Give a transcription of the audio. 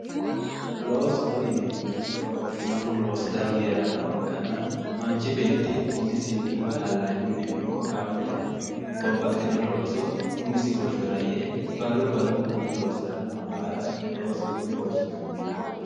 loososho yineemmohu babbaxinohu loosu dani heerannoha ikkanna manchi beeti umisinni woy hallanyunnino ikko gaamotennino babbaxxino looso umisi hoshshora yee barru barrunkunni loosirannoha baala loosoho yine woshshinanni